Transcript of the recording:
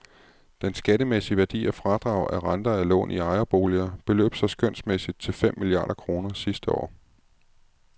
Den skattemæssige værdi af fradrag af renter af lån i ejerboliger beløb sig skønsmæssigt til fem milliarder kroner sidste år.